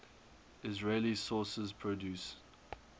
israeli sources produce